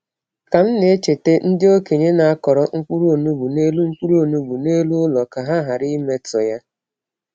Ka m na-echeta, ndị okenye na-akọrọ mkpụrụ onugbu n’elu mkpụrụ onugbu n’elu ụlọ ka ha ghara imetọ ya.